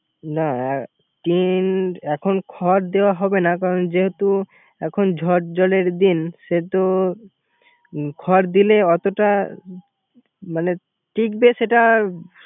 না টিন এখন খড় দেওয়া হবে না। কারন যেহেতু এখন ঝড় ঝড়ের দিন সেহেতু খড় দিলে ওতটা টিকবে সেটা